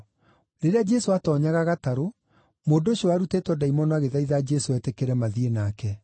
Rĩrĩa Jesũ aatoonyaga gatarũ, mũndũ ũcio warutĩtwo ndaimono agĩthaitha Jesũ etĩkĩre mathiĩ nake.